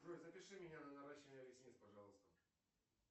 джой запиши меня на наращивание ресниц пожалуйста